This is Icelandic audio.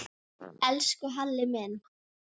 Við réðum þó ekki för.